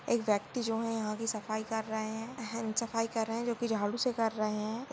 एक व्यक्ती जो ये यहाँ कि सफाई कर रहे है सफाई कर रहे है जोकी झाडू से कर रहे है।